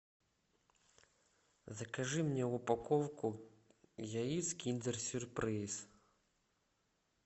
закажи мне упаковку яиц киндер сюрприз